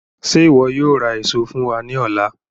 Ṣe iwọ yóò ra eso fun wa ni ọla?